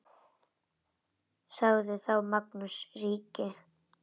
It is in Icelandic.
Sagði þá Magnús ríki: